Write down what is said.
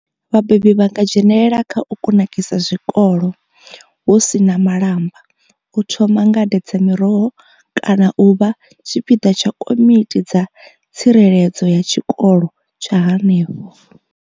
Vhabebi vha nga dzhenelela kha u kunakisa zwikolo hu si na malamba, u thoma ngade dza miroho kana u vha tshipiḓa tsha komiti dza tsireledzo ya tshikolo tsha henefho.